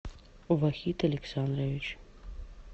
вахид александрович